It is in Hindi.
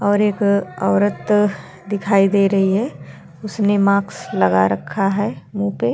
और एक औरत दिखाई दे रही है। उसने माक्स लगा रखा है मुँह पे --